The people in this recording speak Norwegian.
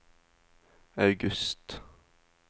august